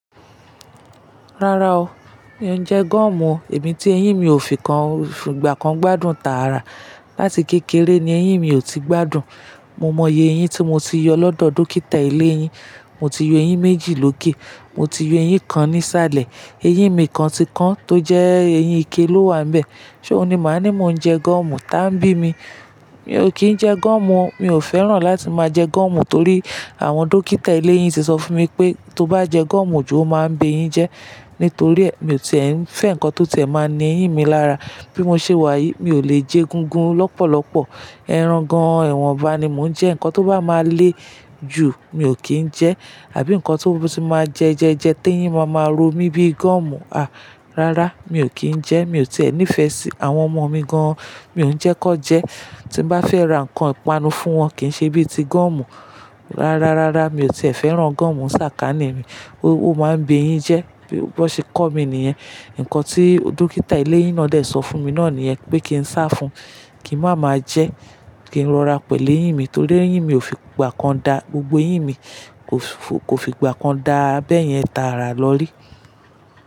Rárá o, mi ò jẹ gọ̀mù o, Èmi tí eyín mi ò fìgbà kan gbádùn tààrà. Lati kékeré ni eyín mi ò ti gbádùn. Mo mọye eyín tí mo ti yọ lọ́dọ̀ dókítà ilé eyín. Mo ti yọ eyín méjì lókè, mo ti yọ eyín kan ní sálẹ̀. Eyín mi kan ti kán tó jẹ́ eyín ike ló wà níbẹ̀. Ṣé o ní màá ní mò ń jẹ gọ̀mù? Tán bí mi. Mi ò kí ń jẹ gọ̀mù o, mi ò fẹ́ràn láti máa jẹ gọ̀mù torí àwọn dókítà eléyín ti sọ fún mi pé tó bá jẹ gọ̀mù jù, ó máa ń ba eyín jẹ. Nítorí è, mi ò tìẹ́ ń fẹ́ nǹkan tó tiẹ̀ máa ń ní eyín mi lára. Bí mo ṣe wà yìí, mi ò lè jẹ egúngún lọ́pọ̀lọpọ̀. Erangan ẹwọ̀nba ni mò ń jẹ. Ǹkan tó bá máa lé jù, mi ò kí ń jẹ. Àbí ǹkan tó tí máa jẹ ẹjẹjẹ tí eyín máa máa ro mi bíi gọ̀mù, à, rárá, mi ò kí ń jẹ. Mi ò tìẹ́ nífẹ̀ẹ́ sí àwọn ọmọ mi gan-an. Mi ò ń jẹ́ kan jẹ. Tí mo bá fẹ́ ra ǹkan ìpanu fún wọn kì í ṣe bíi ti gọ̀mù. Rárá, rárá, mi ò tìẹ́ fẹ́ràn gúọ̀mù. Ṣàkání mi, ó máa ń bí eyín jẹ. Bí wọ́n ṣe kọ́ mi nìyẹn. Ǹkan tí dókítà eléyín náà dẹ̀ sọ fún mi náà nìyẹn pé kí n sá fún, kí màá máa jẹ, kí n rọra pẹ̀lú eyín mi torí eyín mi ò fi ìgbà kan da gbogbo eyín mi, kò fi ìgbà kan dá a bẹ́yẹn tààrà lọ rí.